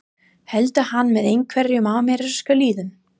Heldur hann með einhverjum amerískum liðum?